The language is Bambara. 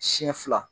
Siɲɛ fila